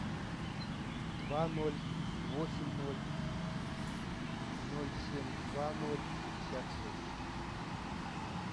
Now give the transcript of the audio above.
два ноль восемь ноль ноль семь два ноль пятьдесят шесть